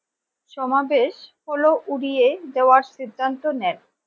সমাবেশ হোল উড়িয়ে দেওয়ার সিদ্ধান্ত নেন